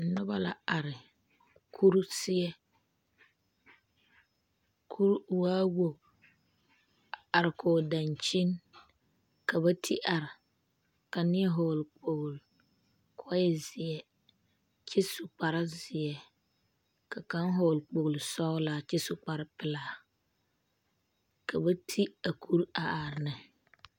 Noba la are kuri seɛ kuri waa wogi a are koge dankyini ka ba de are ka neɛ vɔgele kpogele ka o zeɛ kyɛ su kparre zeɛ ka kaŋa vɔgele kpogele sɔgelaa kyɛ su kparre pelaa ka ba de a kuri a are ne